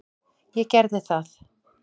Ég gerði það.